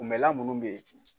Kunmɛnla munnu bɛ ye